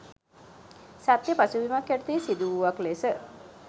සත්‍ය පසුබිමක් යටතේ සිදුවූවක් ලෙස